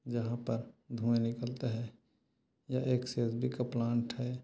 यहाँ पर धुँआ निकलता हैयह एक का प्लांट है।